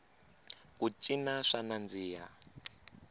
ku cina swa nandziha